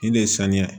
Nin de ye sanuya